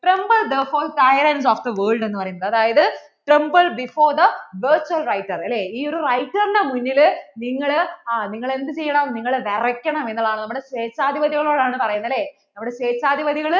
tremlbe therefore tyrents of the world എന്ന് പറയുന്നത്. അതായത് tremble before the writer അല്ലേ അതായത് ഈ ഒരു writer ന്‍റെ മുന്നില്‍ നിങ്ങള്‍ ആ എന്ത് ചെയ്യണം വിറക്കണം എന്നതാനുള്ളത് സ്വേച്ഛാധിപതികള്‍ നമ്മടെ സ്വേച്ഛാധിപതികള്‍